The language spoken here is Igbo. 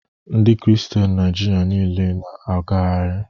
Ndi kristian Naịjirịa nile na-agagharị